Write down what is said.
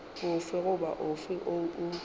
ofe goba ofe woo o